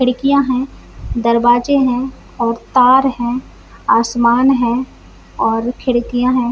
खिड़कियां है दरवाजे है और तार है आसमान है और खिड़कियां है।